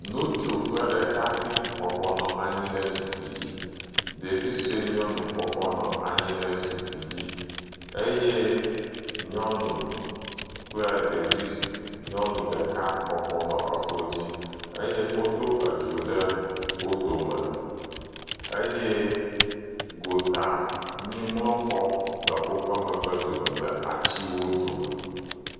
Ŋutsu kple ɖekakpui bɔbɔ nɔ anyi ɖe zikpui dzi, ɖevi sue nyɔnu bɔbɔ nɔ anyi ɖe zikpui dzi, eye nyɔnu kple ɖevi..nyɔnu ɖeka bɔbɔ nɔ eklo dzi eye wodo edzo ɖe wo dome eye gotanyimlɔxɔ nɔ woƒe megbe dome le atiwo dome.